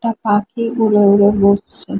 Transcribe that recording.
একটা পাখি উড়ে উড়ে বসছে।